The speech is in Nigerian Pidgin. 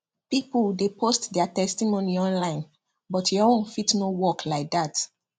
people dey post their testimony online but your own fit no follow work like that